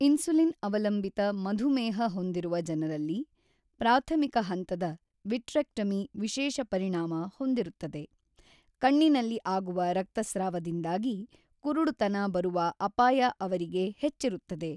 ಇನ್ಸುಲಿನ್-ಅವಲಂಬಿತ ಮಧುಮೇಹ ಹೊಂದಿರುವ ಜನರಲ್ಲಿ ಪ್ರಾಥಮಿಕ ಹಂತದ ವಿಟ್ರೆಕ್ಟಮಿ ವಿಶೇಷ ಪರಿಣಾಮ ಹೊಂದಿರುತ್ತದೆ, ಕಣ್ಣಿನಲ್ಲಿ ಆಗುವ ರಕ್ತಸ್ರಾವದಿಂದಾಗಿ ಕುರುಡುತನ ಬರುವ ಅಪಾಯ ಅವರಿಗೆ ಹೆಚ್ಚಿರುತ್ತದೆ.